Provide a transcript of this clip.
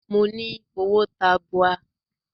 Mo ní owó tabua.